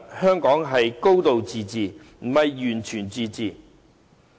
香港是"高度自治"，並非"完全自治"。